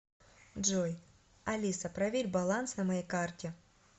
джой алиса проверь баланс на моей карте